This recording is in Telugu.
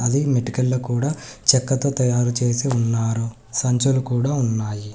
ఈమె ఇంటికి వెళ్లి కూడా చెక్కతో తయారు చేసి ఉన్నారు సంచులు కూడా ఉన్నాయి.